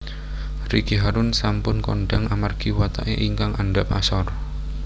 Ricky Harun sampun kondhang amargi watake ingkang andhap asor